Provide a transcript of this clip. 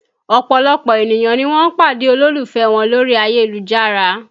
Ọ̀pọ̀lọpọ̀ ènìyàn ni wọ́n pàdé olólùfẹ́ wọn lórí ayélujára